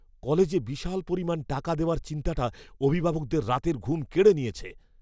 কলেজে বিশাল পরিমাণ টাকা দেওয়ার চিন্তাটা অভিভাবকদের রাতের ঘুম কেড়ে নিয়েছে।